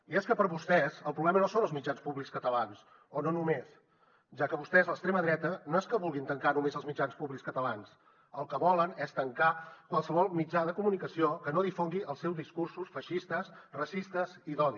i és que per vostès el problema no són els mitjans públics catalans o no només ja que vostès l’extrema dreta no és que vulguin tancar només els mitjans públics catalans el que volen és tancar qualsevol mitjà de comunicació que no difongui els seus discursos feixistes racistes i d’odi